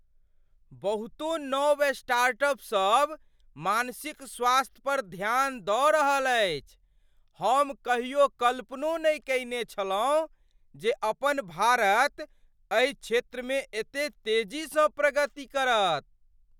बहुतो नव स्टार्टअप सभ मानसिक स्वास्थ्य पर ध्यान दऽ रहल अछि! हम कहियो कल्पनो नहि कयने छलहुँ जे अपन भारत एहि क्षेत्रमे एते तेजीसँ प्रगति करत।